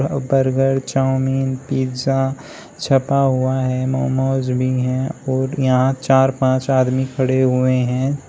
Burger chow mein pizza छपा हुआ है। मोमोज भी है और यहां चार पांच आदमी खड़े हुए हैं।